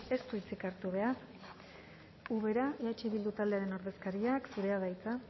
ez du hitzik hartu behar ubera eh bildu taldearen ordezkaria zurea da hitza